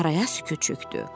Araya sükut çökdü.